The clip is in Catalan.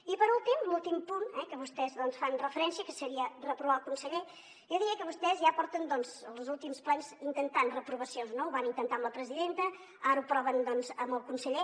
i per últim l’últim punt a què vostès fan referència que seria reprovar el conse·ller jo diria que vostès ja porten doncs els últims plens intentant reprovacions no ho van intentar amb la presidenta ara ho proven doncs amb el conseller